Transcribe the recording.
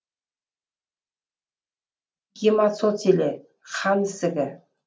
гематоцеле қан ісігі